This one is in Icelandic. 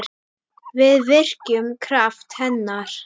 Við virkjum kraft hennar.